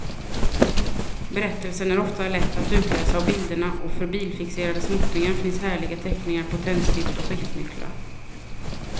Berättelsen är ofta lätt att utläsa av bilderna och för bilfixerade småttingar finns härliga teckningar på tändstift och skiftnycklar.